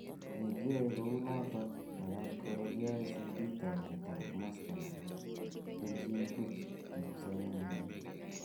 Ye kiae ko unotok, makat koro KICD taunet ab masta ne bo kelchin buch eng kipsomaninik.